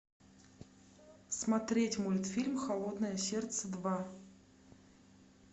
смотреть мультфильм холодное сердце два